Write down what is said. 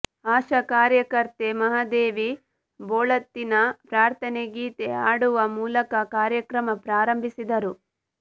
ಆಶಾ ಕಾರ್ಯಕರ್ತೆ ಮಹಾದೇವಿ ಬೋಳತ್ತೀನ ಪ್ರಾರ್ಥನೆ ಗೀತೆ ಹಾಡುವ ಮೂಲಕ ಕಾರ್ಯಕ್ರಮ ಪ್ರಾರಂಬಿಸಿದರು